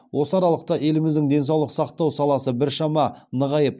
осы аралықта еліміздің денсаулық сақтау саласы біршама нығайып